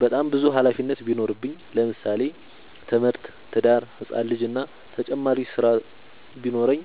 በጣም ብዙ ሀላፊነት ቢኖርብኝ ለምሳሌ፦ ትምህርት፣ ትዳር፣ ህፃን ልጂ እና ተጨማሪ ስራ ቢኖርብኝ።